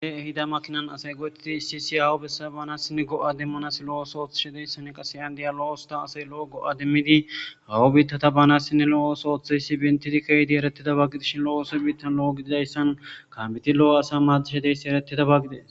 E ehida makkinan asay go'etidi issi issi aawa besiya banasinne go'a demmanas lo'o ossuwa ottishe de'essinne kasse yan de'iya lo'o ossuwa assay lo'o go'a demmidi ba aawaw biittata banasinne lo'o osso ottidayssa pinttidi keyyidi erettidi ke'ida gidishin lo'o oso emmetan lo'o gididayssan kambbetti lo'o asa maddishe de'issi erettidaba gidees